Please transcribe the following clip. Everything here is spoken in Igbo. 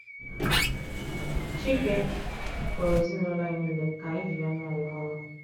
chike kpọrọ ezinụlọ anyị nile ka anyị jiri anya anyị hụrụ.